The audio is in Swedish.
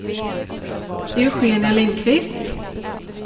Eugenia Lindkvist